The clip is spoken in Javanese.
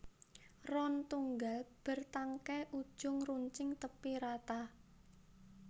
Ron tunggal bértangkai ujung runcing tépi rata